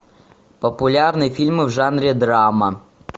популярные фильмы в жанре драма